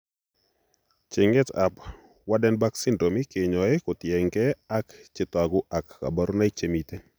Cheng'eet ab Waardenburg syndrome keyoe kotieng'ee ak chetogu ak kaborunoik chemiten